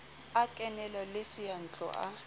a kenelo le seyantlo a